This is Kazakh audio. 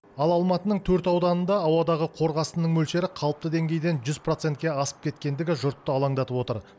ал алматының төрт ауданында ауадағы қорғасынның мөлшері қалыпты деңгейден жүз процентке асып кеткендігі жұртты алаңдатып отыр